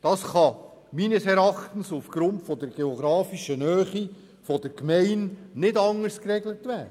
Das kann meines Erachtens aufgrund der geografischen Nähe der Gemeinde nicht anders geregelt werden.